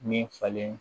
Min falen